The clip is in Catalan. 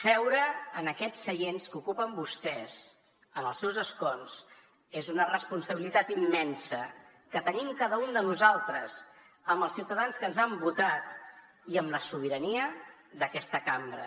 seure en aquests seients que ocupen vostès en els seus escons és una responsabilitat immensa que tenim cada un de nosaltres amb els ciutadans que ens han votat i amb la sobirania d’aquesta cambra